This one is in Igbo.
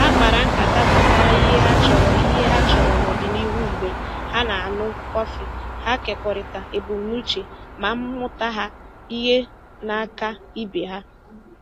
Ha kpara nkata gbasara ihe ha chọrọ ihe ha chọrọ n'ọdịnihu mgbe ha na-aṅụ kọfị, ha kekọrịtara ebumnuche ma mmụta ihe n'aka ibe ha